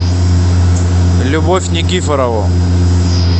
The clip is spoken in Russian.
любовь никифорову